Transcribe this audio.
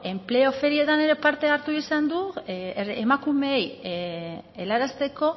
beno enpleo ferietan ere parte hartu izan du emakumeei elearazteko